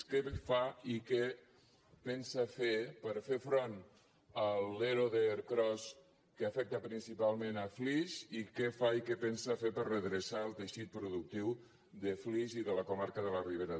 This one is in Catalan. què fa i què pensa fer per fer front a l’ero d’ercros que afecta principalment flix i què fa i què pensa fer per redreçar el teixit de flix i de la comarca de la ribera d’ebre gràcies